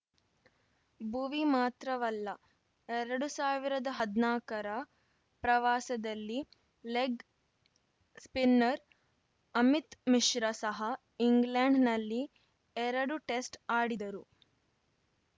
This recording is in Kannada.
ಬುವಿ ಮಾತ್ರವಲ್ಲ ಎರಡು ಸಾವಿರದ ಹದ್ನಾಕರ ಪ್ರವಾಸದಲ್ಲಿ ಲೆಗ್ ಸ್ಪಿನ್ನರ್ ಅಮಿತ್ ಮಿಶ್ರ ಸಹ ಇಂಗ್ಲೆಂಡ್ ನಲ್ಲಿ ಎರಡು ಟೆಸ್ಟ್ ಆಡಿದರು